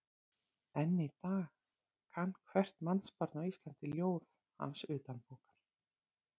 Enn í dag kann hvert mannsbarn á Íslandi ljóð hans utanbókar.